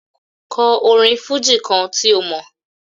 Kò orin fújì kan tí ó mọ̀.